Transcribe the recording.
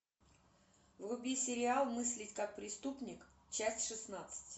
вруби сериал мыслить как преступник часть шестнадцать